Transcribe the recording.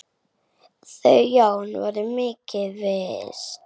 Þau Jón voru mikils virt.